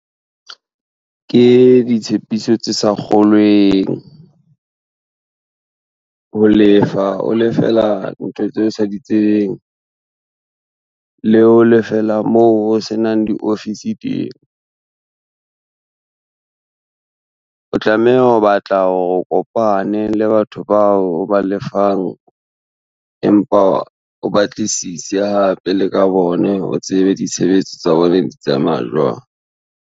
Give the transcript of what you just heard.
Ke ditshepiso tse sa kgolweng, ho lefa o lefela ntho tseo o sa di tsebeng, le ho lefela moo ho se nang diofisi teng. O tlameha ho batla hore o kopane le batho bao o ba lefang, empa o batlisise hape le ka bone o tsebe ditshebetso tsa bone di tsamaya jwang.